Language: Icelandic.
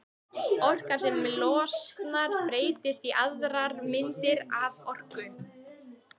Orkan sem losnar breytist í aðrar myndir af orku.